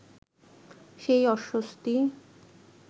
সেই অস্বস্তি